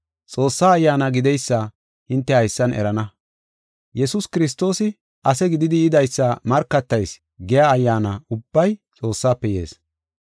Xoossaa Ayyaana gideysa hinte haysan erana; “Yesuus Kiristoosi ase gididi yidaysa markatayis” giya ayyaana ubbay Xoossafe yees.